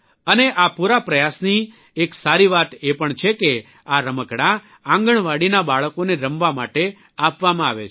અને આ પૂરા પ્રયાસની એક સારી વાત એ પણ છે કે આ રમકડાં આંગણવાડીના બાળકોને રમવા માટે આપવામાં આવે છે